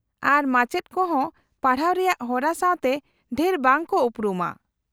-ᱟᱨ ᱢᱟᱪᱮᱫ ᱠᱚ ᱦᱚᱸ ᱯᱟᱲᱦᱟᱣ ᱨᱮᱭᱟᱜ ᱦᱚᱨᱟ ᱥᱟᱶᱛᱮ ᱰᱷᱮᱨ ᱵᱟᱝ ᱠᱚ ᱩᱯᱨᱩᱢᱟ ᱾